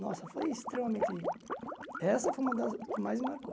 Nossa, foi extremamente... Essa foi uma das que mais me marcou.